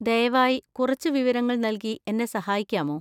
ദയവായി കുറച്ച് വിവരങ്ങൾ നൽകി എന്നെ സഹായിക്കാമോ?